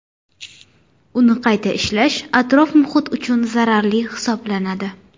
Uni qayta ishlash atrof-muhit uchun zararli hisoblanadi.